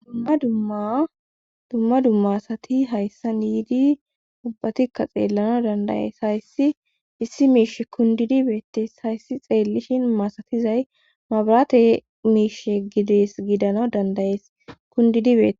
Dumma dumma asati hayssan yidi ubatikkka xeelanas danda'ees. hayssi issi miishshi kundede beetees. Hayssi xeelishin masatizay mabirate miishsha gides gidana danda'ees.kudidi beetees.